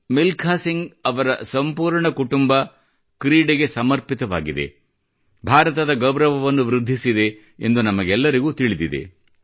ಮಿಲ್ಕಾ ಸಿಂಗ್ ಅವರ ಸಂಪೂರ್ಣ ಕುಟುಂಬ ಕ್ರೀಡೆಗೆ ಸಮರ್ಪಿತವಾಗಿತ್ತು ಭಾರತದ ಗೌರವವನ್ನು ವೃದ್ಧಿಸಿದೆ ಎಂದು ನಮಗೆಲ್ಲರಿಗೂ ತಿಳಿದಿದೆ